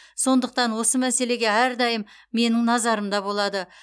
сондықтан осы мәселе әрдайым менің назарымда болады